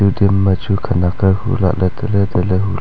khanak hu lah ley tale tale.